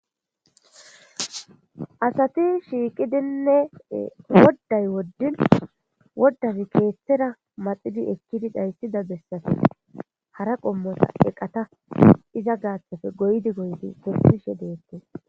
Hayssi asati shiiqqidinne woday wodin wodazi keeththera maxidi eekidii dhaysida bessappe hara qoommota eeqatta iza gaththappe goyishe goyishe kesishe de'ettes